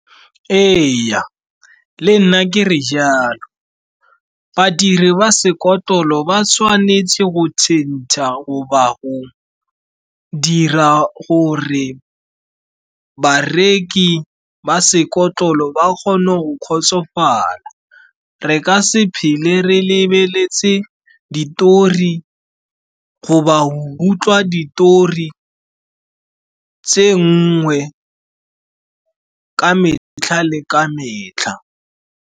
Ee, le nna ke re jalo. Badiri ba sekotlolo ba tshwanetse go tšhentšha goba go dira gore bareki ba sekotlolo ba kgone go kgotsofala. Re ka se phele re lebeletse ditori goba utlwa ditori tse nngwe ka metlha le ka metlha.